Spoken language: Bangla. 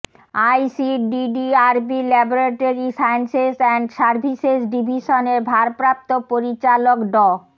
আইসিডিডিআরবির ল্যাবরেটরি সায়েন্সেস অ্যান্ড সার্ভিসেস ডিভিশনের ভারপ্রাপ্ত পরিচালক ড